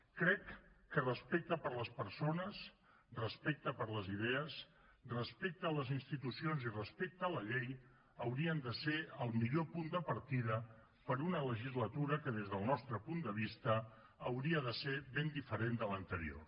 crec que respecte per les persones respecte per les idees respecte a les institucions i respecte a la llei haurien de ser el millor punt de partida per a una legislatura que des del nostre punt de vista hauria de ser ben diferent de l’anterior